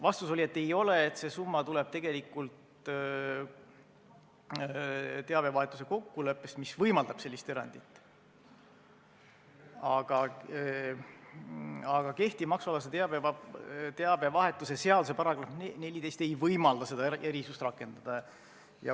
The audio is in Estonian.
Vastus oli, et ei ole, see summa tuleneb tegelikult teabevahetuse kokkuleppest, mis võimaldab sellist erandit, aga kehtiv maksualase teabevahetuse seaduse § 14 ei võimalda seda erisust rakendada.